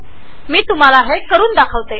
मी तुम्हाला याचे प्रात्यक्षिक करून दाखवते